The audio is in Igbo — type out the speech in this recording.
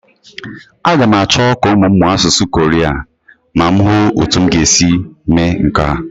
Aga m achọ ka ụmụ m mụọ asụsụ ndị Koria ma m hụ ọ́tụ́ m ga-esi mee nke a.